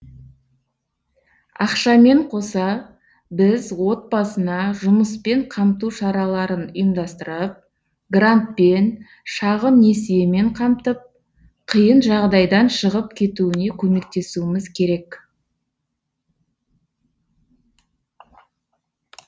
ақшамен қоса біз отбасына жұмыспен қамту шараларын ұйымдастырып грантпен шағын несиемен қамтып қиын жағдайдан шығып кетуіне көмектесуіміз керек